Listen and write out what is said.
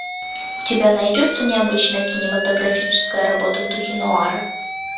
у тебя найдется необычная кинематографическая работа в духе нуара